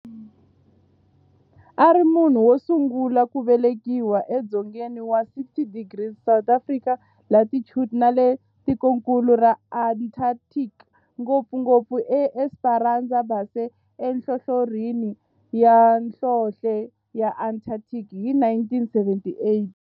A ri munhu wosungula ku velekiwa e dzongeni wa 60 degrees south latitude nale ka tikonkulu ra Antarctic, ngopfungopfu eEsperanza Base enhlohlorhini ya nhlonhle ya Antarctic hi 1978.